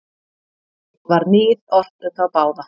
Var níð ort um þá báða.